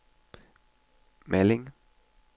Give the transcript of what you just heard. Malling